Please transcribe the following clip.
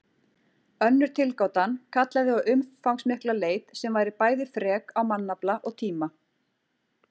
Önnur tilgátan kallaði á umfangsmikla leit sem væri bæði frek á mannafla og tíma.